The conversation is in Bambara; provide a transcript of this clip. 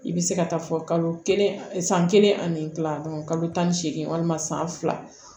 I bɛ se ka taa fɔ kalo kelen san kelen ani kila kalo tan ni seegin walima san fila